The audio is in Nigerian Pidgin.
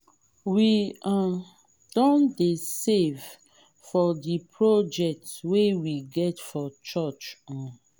we um don dey save for di project wey we get for church. um